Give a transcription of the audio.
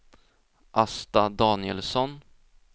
Asta Danielsson